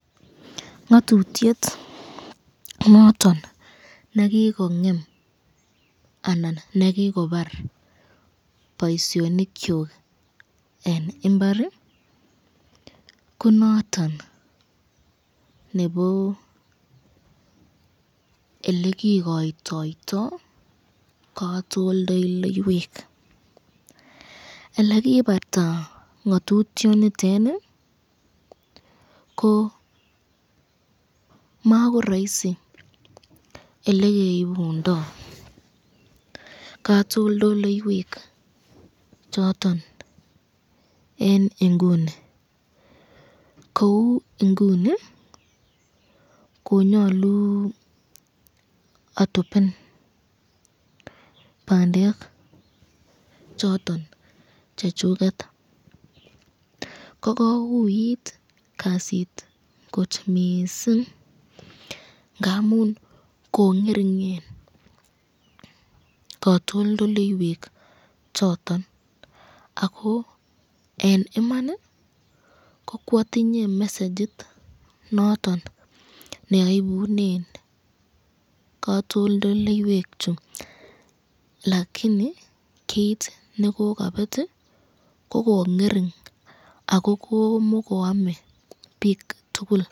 Ngatutyet noton nekikongem anan nekikobar boisyonikyuk eng imbar ko niton nebo elekikoytoto katoldoloiywek ,elekibarta ngatutyet nitoni ko makoraosi elekeibundo katoldoloiywek choton eng inguni ,kou inguni konyolu atopen bandek choton chechuket ,kokouit kasit kot missing ngamun ko ngeringen katoldoloiywek choton ako eng Iman ko kwatinye mesagit neaibunen katoldoloiywek chu lakini kit nekokabet ko lingering ako komikoame bik tukul.